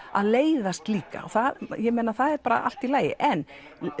að leiðast líka og það er bara allt í lagi en